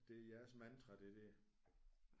Det er jeres mantra det der